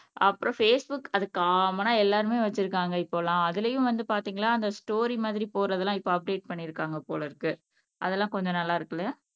அப்புறம் பேஸ்புக் அது காமனா எல்லாருமே வச்சிருக்காங்க இப்பெல்லாம் அதுலயும் வந்து பாத்தீங்கன்னா அந்த ஸ்டோரி மாதிரி போறதெல்லாம் இப்ப அப்டேட் பண்ணியிருக்காங்க போல இருக்கு அதெல்லாம் கொஞ்சம் நல்லா இருக்குல்ல